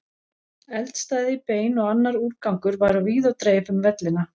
Eldstæði, bein og annar úrgangur var á víð og dreif um vellina.